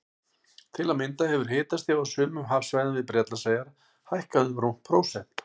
Til að mynda hefur hitastig á sumum hafsvæðum við Bretlandseyjar hækkað um rúmt prósent.